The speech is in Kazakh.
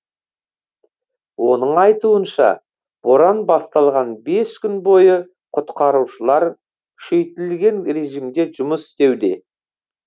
оның айтуынша боран басталған бес күн бойы құтқарушылар күшейтілген режимде жұмыс істеуде